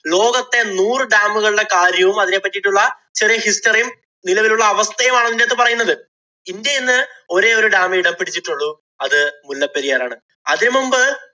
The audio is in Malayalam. ലോകത്തെ നൂറു dam ഉകളുടെ കാര്യവും, അതിനെ പറ്റീട്ടുള്ള ചെറിയ history യും, നിലവിലുള്ള അവസ്ഥയും ആണ് ഇതിനകത്ത് പറയുന്നത്. ഇന്‍ഡ്യ ഇന്ന് ഒരേ ഒരു dam ഏ ഇടം പിടിച്ചിട്ടുള്ളൂ. അത് മുല്ലപെരിയാറാണ്. അതിനു മുമ്പ്